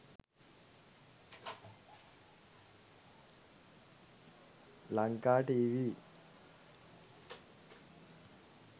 lanka tv